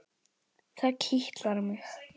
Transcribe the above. Það kitlar mig.